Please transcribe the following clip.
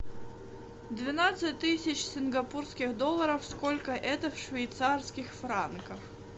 двенадцать тысяч сингапурских долларов сколько это в швейцарских франках